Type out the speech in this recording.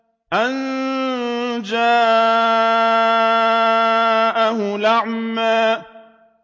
أَن جَاءَهُ الْأَعْمَىٰ